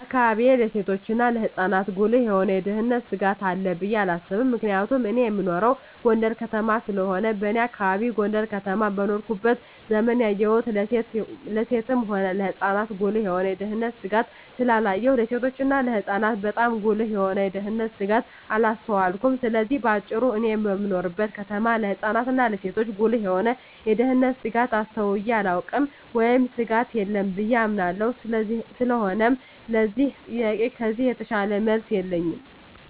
በአካባቢየ ለሴቶችና ለህጻናት ጉልህ የሆነ የደህንነት ስጋት አለ ብየ አላስብም ምክንያቱም እኔ እምኖረው ጎንደር ከተማ ስለሆነ በኔ አካባቢ ጎንደር ከተማ በኖርኩበት ዘመን ያየሁን ለሴትም ሆነ ለህጻን ጉልህ የሆነ የደህንነት ስጋት ስላላየሁ ለሴቶችና ለህጻናት ባጣም ጉልህ የሆነ የደንነት ስጋት አላስተዋልኩም ስለዚህ በአጭሩ እኔ በምኖርበት ከተማ ለህጻናት እና ለሴቶች ጉልህ የሆነ የደህንነት ስጋት አስተውየ አላውቅም ወይም ስጋት የለም ብየ አምናለሁ ስለሆነም ለዚህ ጥያቄ ከዚህ የተሻለ መልስ የለኝም።